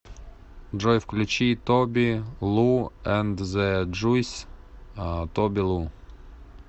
джой включи тоби лу энд зэ джуйс тоби лу